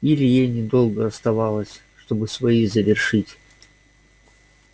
и илье недолго оставалось чтобы свои завершить